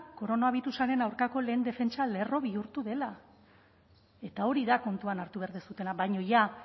koronabirusaren aurkako lehen defentsa lerro bihurtu dela eta hori da kontuan hartu behar duzuena baina jada